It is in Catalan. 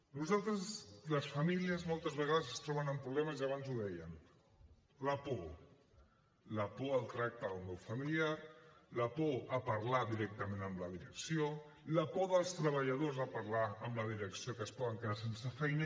nosaltres les famílies moltes vegades es troben amb problemes i abans ho dèiem la por la por al tracte del meu familiar la por a parlar directament amb la direcció la por dels treballadors a parlar amb la direcció que es poden quedar sense feina